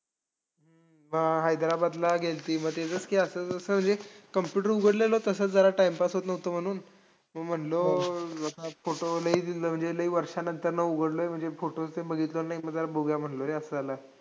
अशा अशा सर्व देशांना प्रजन्यमानाचा प हवामान बदलाचा परिणाम भेडसावू शकतो. कारण या यामुळे जे प्रजन्यमान होत असते त्याच्याव एक वे वेळ